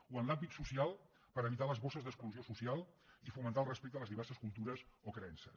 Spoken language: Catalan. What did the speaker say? o en l’àmbit social per evitar les bosses d’exclusió social i fomentar el respecte a les diverses cultures o creences